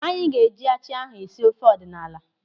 Anyị ga-eji achị ahụ esi ofe ọdịnala.